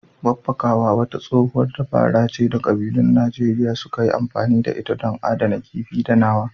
Babbakawa wata tsohuwar dabara ce da ƙabilun Najeriya suka yi amfani da ita don adana kifi da nama.